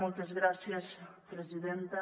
moltes gràcies presidenta